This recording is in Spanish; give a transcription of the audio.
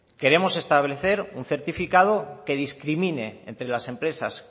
queremos establecer un certificado que discrimine entre las empresas